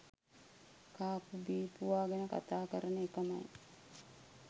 කාපු බීපුවා ගැන කතා කරන එකමයි.